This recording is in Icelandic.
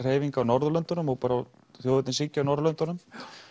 hreyfinga á Norðurlöndunum og bara þjóðernishyggju á Norðurlöndunum